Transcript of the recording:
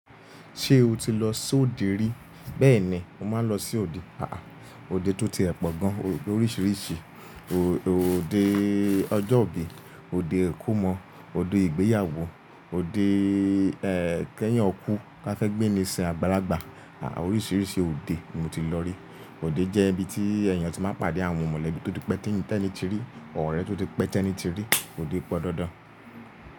Ṣé o ti lọ sí òde rí? Bẹ́ẹ̀ni, mo máa ń lọ sí òde. Àá, òde tó ti ẹ̀pọ̀ gan oríṣiríṣi, òde ọjọ́ ìbí, òde ìkómọ, òde ìgbéyàwó, òde ẹ́, kẹ́yìn ọkú, ká fẹ́ gbé'ni sìn àbárágbà. Àá, oríṣiríṣi òde mo ti lọ rí. Óde jẹ́ ibi tí èèyàn tí máa ń pàdé àwọn mọ̀lẹ́bí tó ti pẹ́ tí ẹnì ti rí, ọ̀rẹ́ tó ti pẹ́ tí ẹni ti rí, òde pọn dandan.